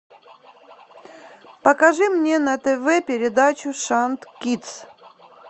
покажи мне на тв передачу шант кидс